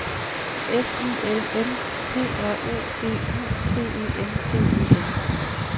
F I L M P R O D U C E N T E N